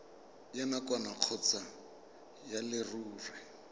ya nakwana kgotsa ya leruri